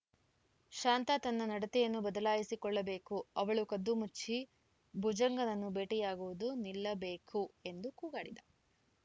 ಶಾಂತಾ ತನ್ನ ನಡತೆಯನ್ನು ಬದಲಾಯಿಸಿ ಕೊಳ್ಳ ಬೇಕು ಅವಳು ಕದ್ದು ಮುಚ್ಚಿ ಭುಜಂಗನನ್ನ ಭೇಟಿಯಾಗುವುದು ನಿಲ್ಲ ಬೇಕು ಎಂದು ಕೂಗಾಡಿದ